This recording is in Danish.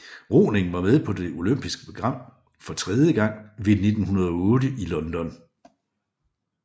Roning var med på det olympiske program for tredje gang ved 1908 i London